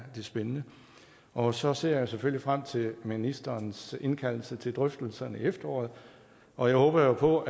spændende og så ser jeg selvfølgelig frem til ministerens indkaldelse til drøftelser til efteråret og jeg håber jo på